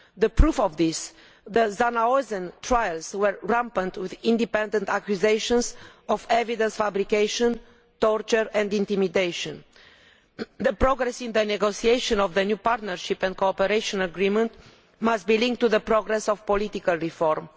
As proof of this, the Zhanaozen trials were rampant with independent accusations of evidence fabrication, torture and intimidation. The progress in the negotiation of the new partnership and cooperation agreement must be linked to the progress of political reform.